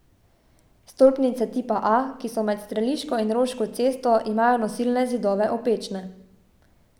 Stolpnice tipa A, ki so med Streliško in Roško cesto, imajo nosilne zidove opečne.